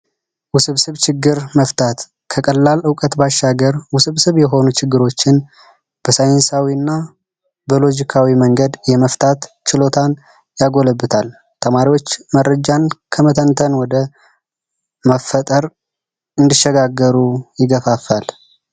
ውስብስብ ችግር መፍታት ከቀላል እውቀት ባሻገር ውስብስብ የሆኑ ችግሮችን በሳይንሳዊ እና በሎጂካዊ መንገድ የመፍታት ችሎታን ያጎለብታል። ተማሪዎች መረጃን ከመተንተን ወደ መፍጠር እንዲሸጋገሩ ይገፋፋል።